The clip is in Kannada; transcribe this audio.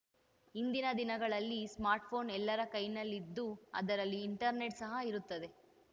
ಇಂದಿನ ದಿನಗಳಲ್ಲಿ ಸ್ಮಾರ್ಟ್‌ಫೋನ್‌ ಎಲ್ಲರ ಕೈನಲ್ಲಿದ್ದು ಅದರಲ್ಲಿ ಇಂಟರ್ನೆಟ್‌ ಸಹ ಇರುತ್ತದೆ